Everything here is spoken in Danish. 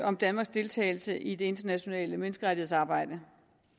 om danmarks deltagelse i det internationale menneskerettighedsarbejde